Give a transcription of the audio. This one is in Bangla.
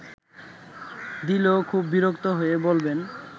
দিলেও খুব বিরক্ত হয়ে বলবেন